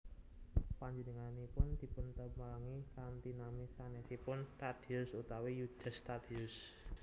Panjenenganipun dipuntepangi kanthi nami sanèsipun Tadeus utawi Yudas Tadeus